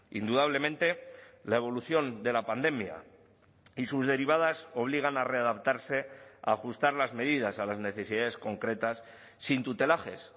indudablemente la evolución de la pandemia y sus derivadas obligan a readaptarse a ajustar las medidas a las necesidades concretas sin tutelajes